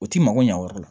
U t'i mago ɲɛ o yɔrɔ la